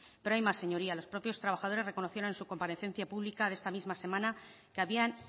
pero hay más señorías los propios trabajadores reconocieron en su comparecencia pública de esta misma semana que habían